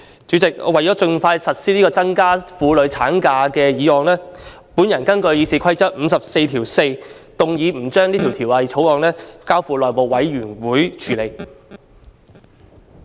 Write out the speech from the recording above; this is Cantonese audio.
主席，為了盡快實施這項增加婦女產假的建議，我根據《議事規則》第544條，動議《2019年僱傭條例草案》不交付內務委員會處理。